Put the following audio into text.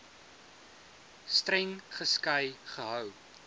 streng geskei gehou